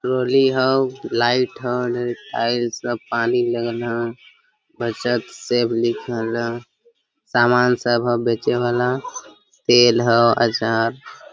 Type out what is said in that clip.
trolley हव light ह tiles सब पानी लगल ह बचत सेव लिखल ह सामान सब ह बेचे वाला तेल ह आचार --